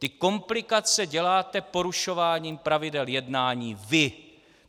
Ty komplikace děláte porušováním pravidel jednání vy.